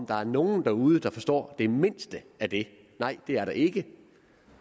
der nogen derude der forstår det mindste af det nej det er der ikke